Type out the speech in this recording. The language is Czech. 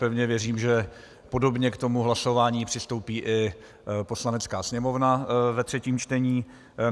Pevně věřím, že podobně k tomu hlasování přistoupí i Poslanecká sněmovna ve třetím čtení.